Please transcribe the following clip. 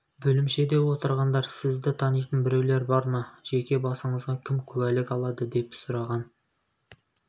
бөлімшеде отырғандар сізді танитын біреулер бар ма жеке басыңызға кім куәлік алады деп сұраған